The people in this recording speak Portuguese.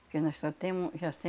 Porque nós só temos... Já